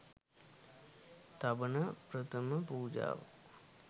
තබන ප්‍රථම පූජාව